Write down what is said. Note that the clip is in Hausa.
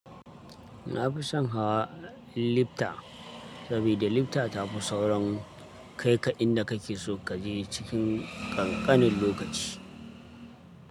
Na fi son hawa lifta, saboda lifta ta fi saurin kai ka inda kake so kaje cikin ƙanƙanin lokaci.